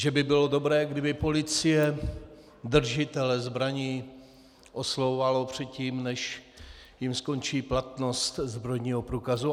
Že by bylo dobré, kdyby policie držitele zbraní oslovovala předtím, než jim skončí platnost zbrojního průkazu.